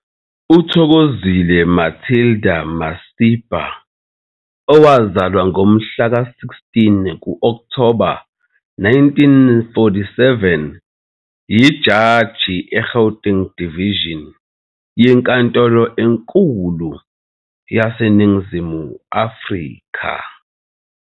UThokozile Matilda Masipa, owazalwa ngomhla ka-16 Okthoba 1947, yijaji eGauteng Division yeNkantolo eNkulu yaseNingizimu Afrika.